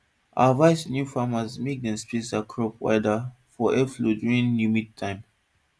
i advise new farmers mek dem space crops wider for airflow during humid time